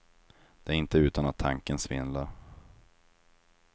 Det är inte utan att tanken svindlar.